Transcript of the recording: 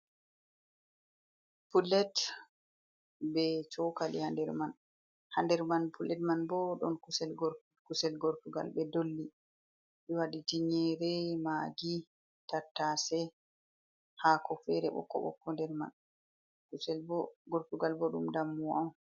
Pulet ɓe chokali ha nɗer man, ha nɗer man pulet man bo, ɗon kusel gortugal ɓe dolli, ɓe waɗi tinyere, magi, tattase, hako fere ɓokko ɓokko nder man, kusel bo gortugal bo ɗum dammuwa on.